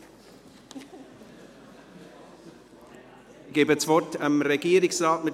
Ich gebe das Wort Regierungsrat Neuhaus.